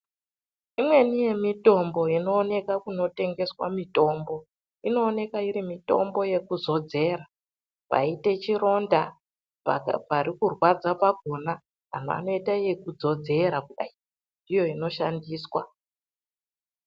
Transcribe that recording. Imweni yemutombo inooneka kunotengeswa mitombo, inooneka iri mitombo yekuzodzera paite chironda , pari kurwadza pakona anhu anoite yekudzodzera kudai ndiyo inoshandiswa .